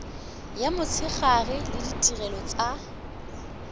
ya motshegare le ditirelo tsa